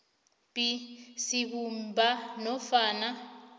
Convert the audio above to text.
b sibumba nofana